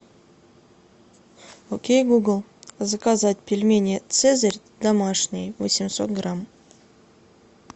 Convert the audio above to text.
окей гугл заказать пельмени цезарь домашние восемьсот грамм